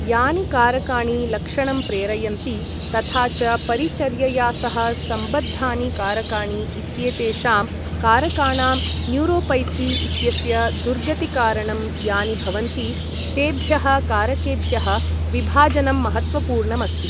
यानि कारकाणि लक्षणं प्रेरयन्ति , तथा च परिचर्यया सह सम्बद्धानि कारकाणि इत्येतेषां कारकाणां न्यूरोपैथी इत्यस्य दुर्गतिकारणं यानि भवन्ति तेभ्यः कारकेभ्यः विभाजनं महत्त्वपूर्णमस्ति।